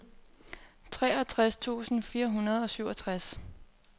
treogtres tusind fire hundrede og syvogtres